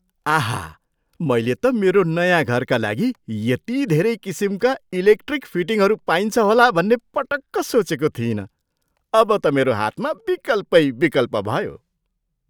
आहा! मैले त मेरो नयाँ घरका लागि यति धेरै किसिमका इलेक्ट्रिक फिटिङहरू पाइन्छ होला भन्ने पटक्क सोचेको थिइनँ। अब त मेरो हातमा विकल्पै विकल्प भयो!